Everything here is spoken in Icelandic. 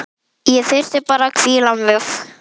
Ég þyrfti bara að hvíla mig.